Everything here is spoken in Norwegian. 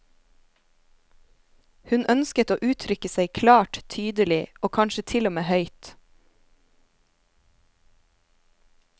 Hun ønsket å uttrykke seg klart, tydelig og kanskje til og med høyt.